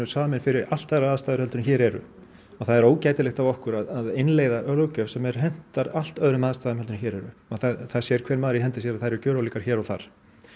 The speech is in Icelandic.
samin fyrir allt aðrar aðstæður en hér eru og það er ógætilegt af okkur að innleiða löggjöf sem hentar allt öðrum aðstæðum heldur en hér eru og það sér hver maður í hendi sér að þær eru gjörólíkar hér og þar